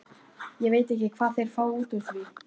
Ég veit ekki hvað þeir fá út úr því.